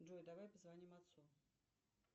джой давай позвоним отцу